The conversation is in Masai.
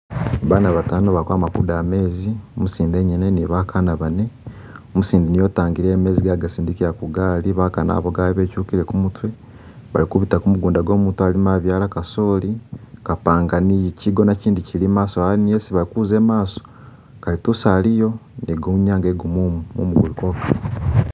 Bana batano ba kwama kudaaya mezi, umusinde engenye ni bakana bane, umusinde niye utangile mezi geye agasindikira kugali, bakana abo gabwe bedyukile kumutye, Bali kubita kumugunda gwomutu alima abyala kasooli, kapanga ni chigona chindi kili maaso awo niyo isi bayi kuza mumaso, kalitusi aliyo egwawo inyanga ye gumumu mumuguluko